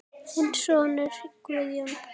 Þinn sonur Guðjón.